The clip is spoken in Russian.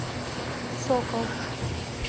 сокол